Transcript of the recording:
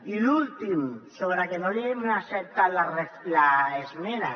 i l’últim sobre que no li hem acceptat l’esmena